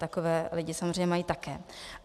Takové lidi samozřejmě mají také.